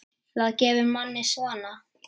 Það gefur manni svona.